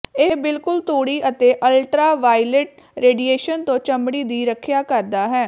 ਇਹ ਬਿਲਕੁਲ ਤੂੜੀ ਅਤੇ ਅਲਟਰਾਵਾਇਲਟ ਰੇਡੀਏਸ਼ਨ ਤੋਂ ਚਮੜੀ ਦੀ ਰੱਖਿਆ ਕਰਦਾ ਹੈ